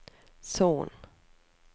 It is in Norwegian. Son